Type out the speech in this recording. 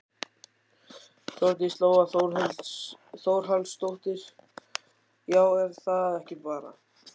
Þórdís Lóa Þórhallsdóttir: Já er það ekki bara?